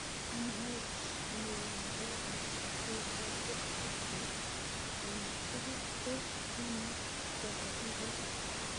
NIH: neo nepo poishet ap kerchek chu , ing tugul ko ngemet ap akilit.